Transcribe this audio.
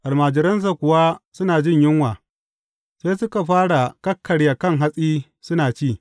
Almajiransa kuwa suna jin yunwa, sai suka fara kakkarya kan hatsi suna ci.